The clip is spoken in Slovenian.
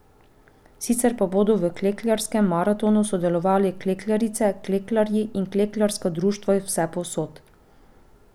Sicer pa bodo v klekljarskem maratonu sodelovali klekljarice, klekljarji in klekljarska društva iz vsepovsod.